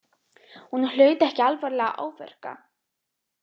Hún hlaut ekki alvarlega áverka